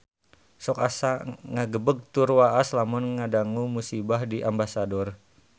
Sok asa ngagebeg tur waas lamun ngadangu musibah di Ambasador